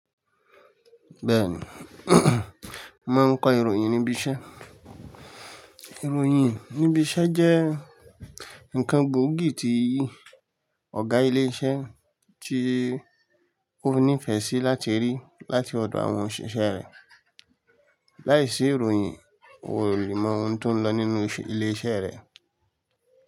Bẹ́ẹ̀ni, mo mó n kọ ìròyìn níbi iṣẹ́. Ìròyìn níbi iṣẹ́ jẹ́ ǹkan gbóògì tí ọ̀gá ilé iṣẹ́ tí ó ní ìfẹ́ sí láti rí láti ọ̀dọ̀ àwọn òṣìṣẹ́ rẹ̀. Láìsí ìròyìn, o ò lè mọ ohun tó ń lọ nínú ilé iṣẹ́ rẹ.